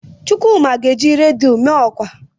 Chukwuma ga-eji redio mee ọkwa.